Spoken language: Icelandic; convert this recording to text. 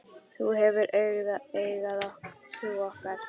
Þú hefur auðgað trú okkar.